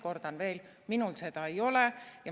Kordan veel: minul seda ei ole.